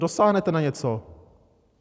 Dosáhnete na něco?